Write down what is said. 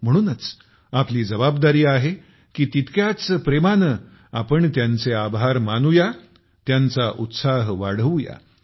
म्हणूनच आपली जबाबदारी आहे की तितक्याच प्रेमाने आपण त्यांचे आभार मानूया त्यांचा उत्साह वाढवूया